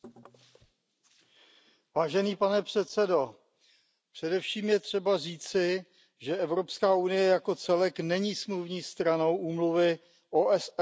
Pane předsedající, především je třeba říci, že Evropská unie jako celek není smluvní stranou Úmluvy OSN o biologické rozmanitosti.